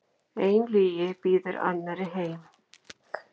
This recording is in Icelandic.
Ein lygi býður annarri heim.